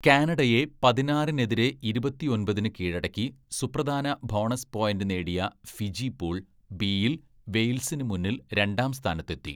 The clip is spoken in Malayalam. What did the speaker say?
കാനഡയെ പതിനാറിനെതിരെ ഇരുപത്തിയൊമ്പതിന്‌ കീഴടക്കി സുപ്രധാന ബോണസ് പോയിന്റ് നേടിയ ഫിജി പൂൾ ബിയിൽ വെയിൽസിന് മുന്നിൽ രണ്ടാം സ്ഥാനത്തെത്തി.